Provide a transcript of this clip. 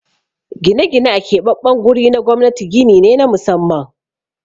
Gine-gine a keɓaɓɓen guri na gwamnati gini ne na musamman.